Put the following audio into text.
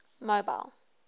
mobile